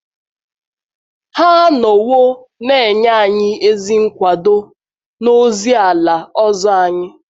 Ha anọwo na - enye anyị ezi nkwado n’ozi ala ọzọ anyị.